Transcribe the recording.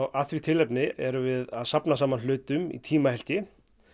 að því tilefni erum við að safna saman hlutum í tímahylki